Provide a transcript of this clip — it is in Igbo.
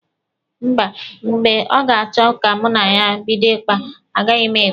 Mba, mgbe ọ ga-achọ ka mụ na ya bido ịkpa, agaghị m ekwe.